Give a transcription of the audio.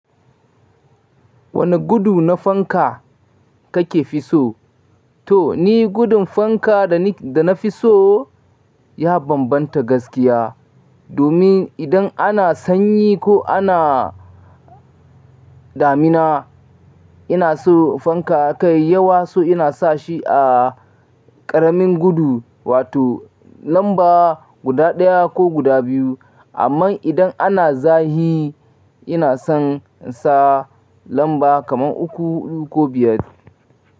Wane gudu na fanka kake fi so? To ni gudun fanka da na fi so ya bambanta gaskiya. Domin idan ana sanyi ko ana damina ina so fanka kai yawa, so ina sa shi a ƙaramin gudu wato lamba guda ɗaya ko guda biyu. Amma idan ana zafi ina son insa lamba kaman uku, hudu ko biyar.